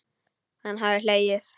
Hann hafði hlegið.